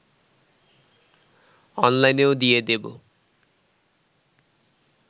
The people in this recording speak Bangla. অনলাইনেও দিয়ে দেব